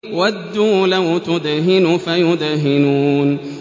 وَدُّوا لَوْ تُدْهِنُ فَيُدْهِنُونَ